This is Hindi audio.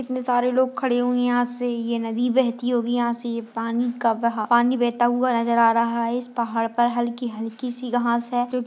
इतने सारे लोग खड़े हुए हैं यहाँ से यह नदी बहती होगी यहाँ से यह पानी का बहा पानी बहता हुआ नजर आ रहा है इस पहाड़ पर हल्की-हल्की सी घास है क्योंकि --